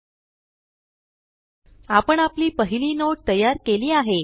एलटीपॉजेग्ट आपण आपली पहिली नोट तयार केली आहे